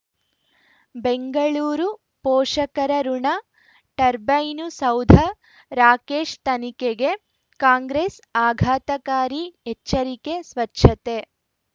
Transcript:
ಬೆಂಗಳೂರು ಪೋಷಕರಋಣ ಟರ್ಬೈನು ಸೌಧ ರಾಕೇಶ್ ತನಿಖೆಗೆ ಕಾಂಗ್ರೆಸ್ ಆಘಾತಕಾರಿ ಎಚ್ಚರಿಕೆ ಸ್ವಚ್ಛತೆ